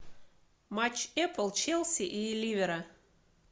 матч апл челси и ливера